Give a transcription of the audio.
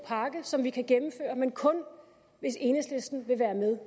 pakke som vi kan gennemføre men kun hvis enhedslisten vil være med